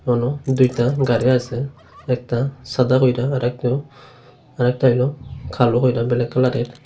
হলো দুইতা গাড়ি আছে একতা সাদা কইরা আরেকতো আরেকতা হইলো কালো কইরা ব্ল্যাক কলরের।